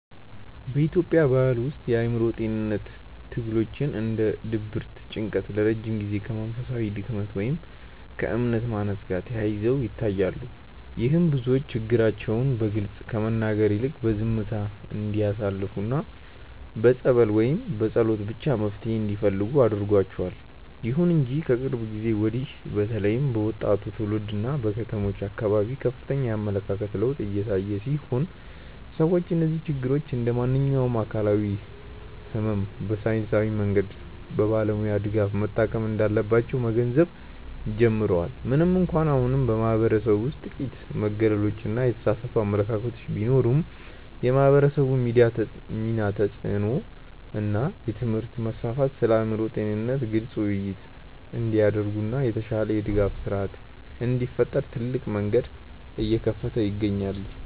በኢትዮጵያ ባሕል ውስጥ የአእምሮ ጤንነት ትግሎች እንደ ድብርትና ጭንቀት ለረጅም ጊዜ ከመንፈሳዊ ድክመት ወይም ከእምነት ማነስ ጋር ተያይዘው ይታያሉ። ይህም ብዙዎች ችግራቸውን በግልጽ ከመናገር ይልቅ በዝምታ እንዲያሳልፉና በጸበል ወይም በጸሎት ብቻ መፍትሔ እንዲፈልጉ አድርጓቸዋል። ይሁን እንጂ ከቅርብ ጊዜ ወዲህ በተለይም በወጣቱ ትውልድና በከተሞች አካባቢ ከፍተኛ የአመለካከት ለውጥ እየታየ ሲሆን፣ ሰዎች እነዚህን ችግሮች እንደ ማንኛውም አካላዊ ሕመም በሳይንሳዊ መንገድና በባለሙያ ድጋፍ መታከም እንዳለባቸው መገንዘብ ጀምረዋል። ምንም እንኳን አሁንም በማኅበረሰቡ ውስጥ ጥቂት መገለሎችና የተሳሳቱ አመለካከቶች ቢኖሩም፣ የማኅበራዊ ሚዲያ ተጽዕኖ እና የትምህርት መስፋፋት ስለ አእምሮ ጤንነት ግልጽ ውይይቶች እንዲደረጉና የተሻለ የድጋፍ ሥርዓት እንዲፈጠር ትልቅ መንገድ እየከፈቱ ይገኛሉ።